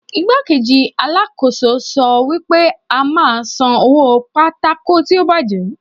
Igbá-kejì Alákóso wa sọ wípé a máa san owó pátákó tí a bàjẹ́.